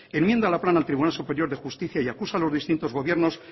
enmienda la plana al tribunal superior de justicia y acusa a los distintos gobiernos